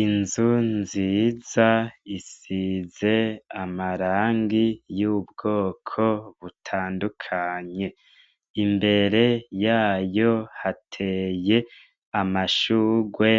Inzu nziza isize amarangi y'ubwoko butandukanye. Imbere yayo hateye amashurwe